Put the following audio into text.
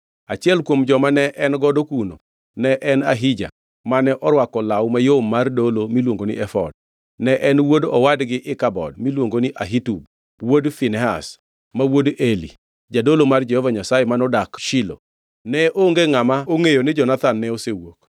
achiel kuom joma ne en godo kuno ne en Ahija mane orwako law mayom mar dolo miluongo ni efod. Ne en wuod owadgi Ikabod miluongo ni Ahitub wuod Finehas, ma wuod Eli, jadolo mar Jehova Nyasaye modak Shilo. Ne onge ngʼama ongʼeyo ni Jonathan ne osewuok.